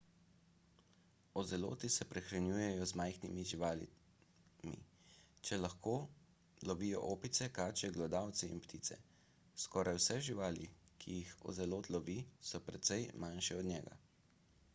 ozeloti se prehranjujejo z majhnimi živalmi če le lahko lovijo opice kače glodavce in ptice skoraj vse živali ki jih ozelot lovi so precej manjše od njega